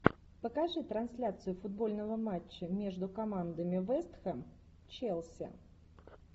покажи трансляцию футбольного матча между командами вест хэм челси